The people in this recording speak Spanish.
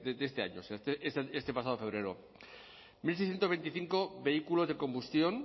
de este año este pasado febrero mil seiscientos veinticinco vehículos de combustión